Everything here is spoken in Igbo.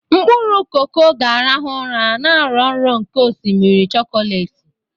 Mkpụrụ koko koko ga-arahụ ụra, na-arọ nrọ nke osimiri chokolati.